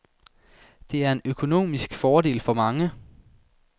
Det er en økonomisk fordel for mange.